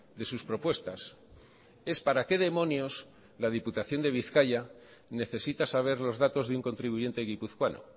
de sus propuestas es para qué demonios la diputación de bizkaia necesita saber los datos de un contribuyente guipuzcoano